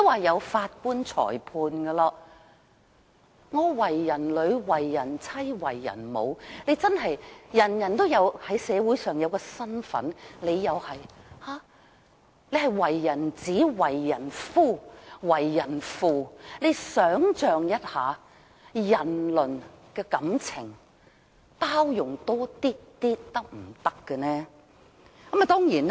我為人女、為人妻、為人母，社會上人人也有一個身份，他亦一樣，他為人子、為人夫、為人父，請他想一下，這是人倫感情，大家可否多一點包容呢？